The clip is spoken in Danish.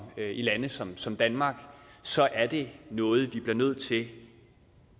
lande som som danmark så er det noget vi bliver nødt til